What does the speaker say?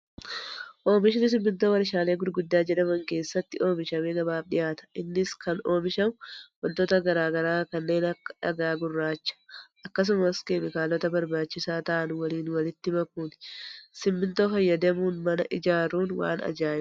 Oomishni simmintoo warshaalee gurguddaa jedhaman keessatti oomishamee gabaaf dhiyaata. Innis kan oomishamu wantoota garaagaraa kanneen akka dhagaa gurraacha akkasumas keemikaalota barbaachisaa ta'an waliin walitti makuuni. Simmintoo fayyadamuun nama ijaaruun waan ajaa'ibaati